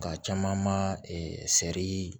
Nka caman ma sɛri